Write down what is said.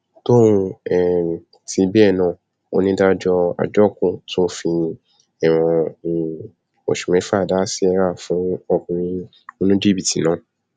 tóun um tì bẹẹ náà onídàájọ àjókù tún fi ẹwọn um oṣù mẹfà dá síríà fún ọkùnrin oníjìbìtì náà